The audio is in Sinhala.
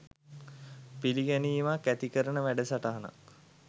පිළිගැනීමක් ඇති කරන වැඩසටහනක්